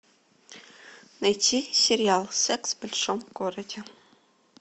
найти сериал секс в большом городе